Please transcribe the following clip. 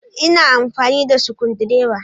Ina amfani da sukudireba